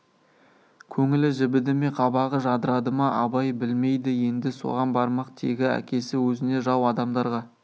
көңілі жібіді ме қабағы жадырады ма абай білмейді енді соған бармақ тегі әкесі өзіне жау адамдарға